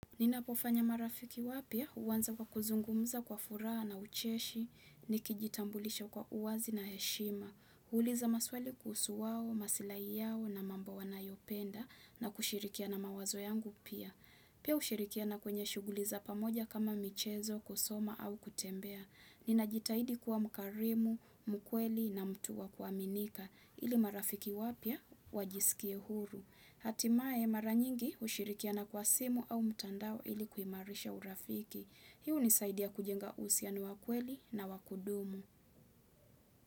Ninapofanya marafiki wapya huanza kwa kuzungumza kwa furaha na ucheshi, nikijitambulisha kwa uwazi na heshima. Uuliza maswali kuhusu wao, maslai yao na mambo wanayopenda na kushirikia na mawazo yangu pia. Pia hushirikiana kwenye shughuli za pamoja kama michezo, kusoma au kutembea. Ninajitahidi kuwa mkarimu, mkweli na mtu wa kuaminika. Ili marafiki wapya, wajisikie huru. Hatimaye mara nyingi hushirikiana kwa simu au mtandao ili kuimarisha urafiki. Hii hunisaidia kujenga uhusiano wa kweli na wa kudumu.